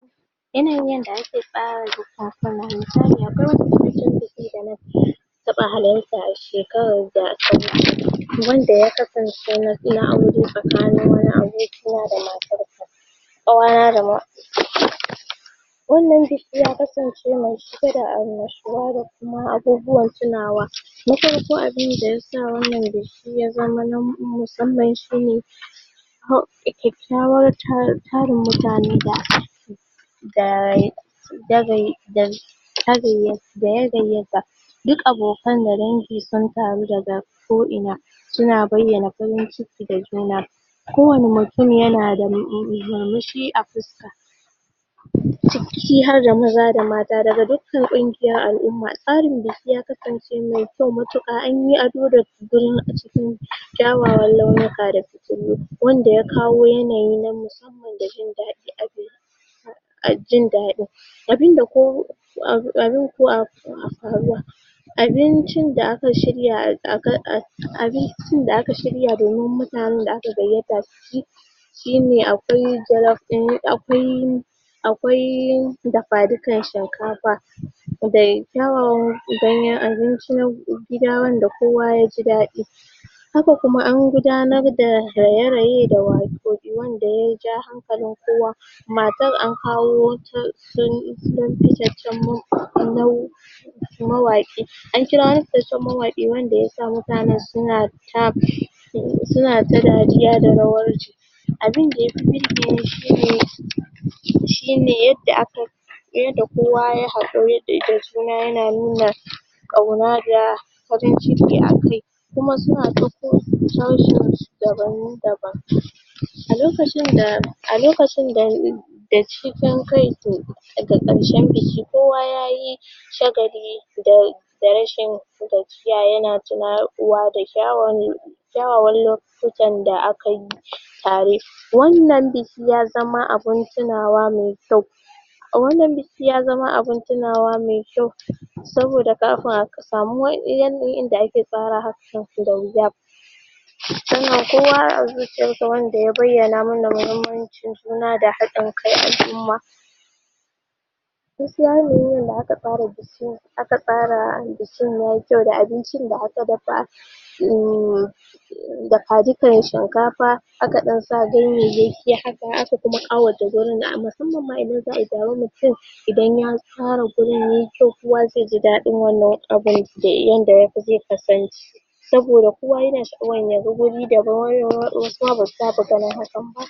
Yanayin yanda ake tsara biki Na taɓa halarta a shekarar wanda ya kasance na aure tsakanin wani abokina da matarsa. wannan biki ya kasance mai cike da annashuwa da kuma abubuwan tunawa na farko abun da ya sa wannan biki ya zama na musamman shi ne, tarun mutane da da ya gayyata duk abokan da dangi sun taru da ga ko'ina suna bayyana farin ciki ga juna kowane mutum yana murmushi a fuska. ciki har da maza da mata daga duk kan ƙungiyar al'umma tsarin da su kai ya ksance mai kyau gaskiya an yi ado a cikin kyawawan launuka sannan wanda ya kawo yanayi na musamman da jin daɗi a jin daɗin. abincin da aka shirya a abincin da aka shirya domin mutanen da aka gayyata su ci shi ne akwai jallof ɗin akwai akwai dafa-dikan shinkafa da kyawawan ganyen abinci na gida wanda kowa ya ji daɗi. Haka nan kuma an gudanar da raye-raye da waƙen da ya ja hankalin kowa matar an kawo wata mawaƙi an kira wani fitaccen mawaƙi wanda ya sa mutane suna ta suna ta dariya da rawarsu. abin da ya fi birge ni shi ne shi ne yadda a ka yi yadda kowa ya yi haƙuri da juna yana nuna ƙauna da farin ciki a kai kuma suna ta a lokacin da a lokacin da da cikin daga ƙarshen biki kowa ya yi shagali da da rashin gajiya yana tuna ƴan uwa da kyawun kyawawan lokutan da a ka yi tare. Wannan biki ya zama abun tunawa mai A wannan biki ya zama abun tunawa mai kyau saboda kafin a samu wa iyalin wanda a ke tsara hakan da wuya sannan kowa a zuciyansa wanda ya bayyana mana muhimmanci juna da haɗin kan al'umma. gaskiya yanayin da aka tsara bikin ya yi kyau da abincin da aka dafa shin dafa dukan shinkafa aka ɗan ganyayyaki haka aka ɗan ƙawata wurin musamman ma idan za a yi taron mutu Idan ya tsara wurin ya yi kyau kowa zai ji daɗin wannan abun da ya yi yadda zai kasance. saboda kowa yana sha'awan ya ga guri da kyau wasu ma ba su saba ganin irin hakan ba.